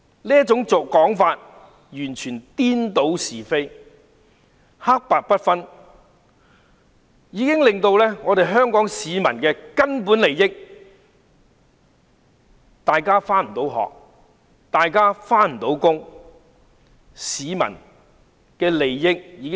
這種說法完全是顛倒是非，黑白不分，損害香港市民的根本利益，令大家不能上學、不能上班。